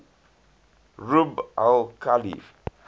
rub al khali